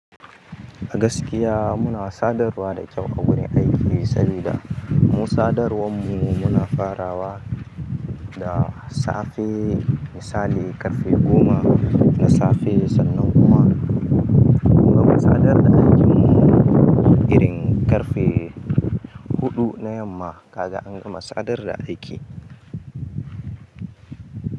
A gaskiya muna sadarwa da kyau a wurin aiki, sabida mu sadar wanmu muna farawa da safe misali ƙarfe goma na safe sannan kuma munga ma sadar da aikinmu irin ƙarfe huɗu na yamma kaga anga ma sadar da aiki.